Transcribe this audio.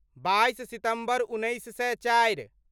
बाइस सितम्बर उन्नैस सए चारि